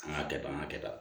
An ka kɛ tan an ka kɛ tan